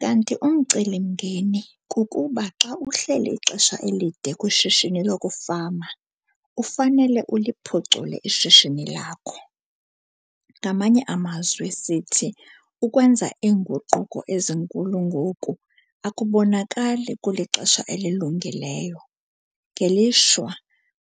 Kanti umcelimngeni - kukuba xa uhleli ixesha elide kwishishini lokufama, ufanele uliphucule ishishini lakho. Ngamanye amazwi sithi ukwenza iinguquko ezinkulu ngoku, akubonakali kulixesha elilungileyo. Ngelishwa,